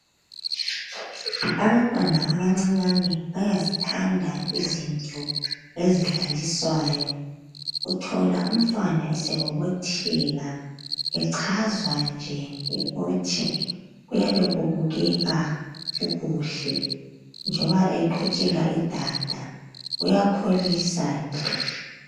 Abantwana abancinyane bayazithanda izinto ezidlaliswayo. Uthola umntwana esebobotheka echazwa nje yikuthi kuyabe kubukeka kukuhle. Njoba eqhutshelwa idada uyakholisa nje.